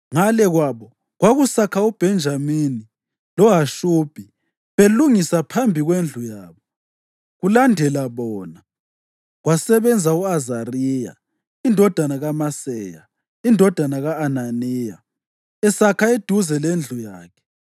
Ngale kwabo, kwakusakha uBhenjamini loHashubhi belungisa phambi kwendlu yabo; kulandela bona, kwasebenza u-Azariya indodana kaMaseya, indodana ka-Ananiya, esakha eduze lendlu yakhe.